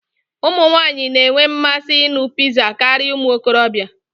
Ụmụ nwanyị na-enwe mmasị ịṅụ pizza karịa ụmụ okorobịa.